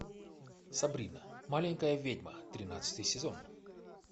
сабрина маленькая ведьма тринадцатый сезон